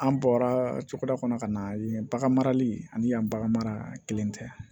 An bɔra cogoda kɔnɔ ka na yen bagan marali ani yan bagan mara kelen tɛ